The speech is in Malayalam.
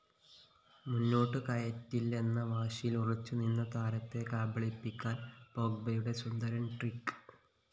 മുന്നോട്ടുകയറ്റില്ലെന്ന വാശിയിൽ ഉറച്ചുനിന്ന താരത്തെ കബളിപ്പിക്കാൻ പോഗ്ബയുടെ സുന്ദരൻ ട്രിക്ക്‌